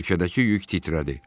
Kirşədəki yük titrədi.